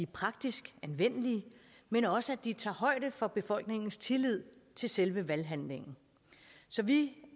praktisk anvendelige men også at de tager højde for befolkningens tillid til selve valghandlingen så vi